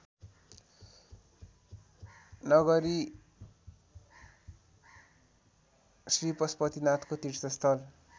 नगरी श्रीपशुपतिनाथको तीर्थस्थल